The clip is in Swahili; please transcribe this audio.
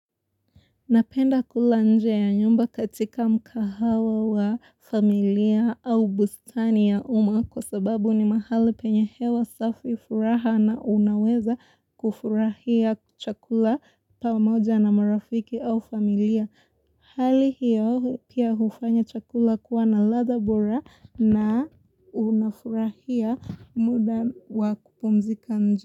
Napenda kula nje ya nyumba katika mkahawa wa familia au bustani ya uma kwa sababu ni mahali penye hewa safi furaha na unaweza kufurahia chakula pamoja na marafiki au familia. Hali hiyo hu pia hufanya chakula kuwa na ladha bora na unafurahia muda wa kupumzika nje.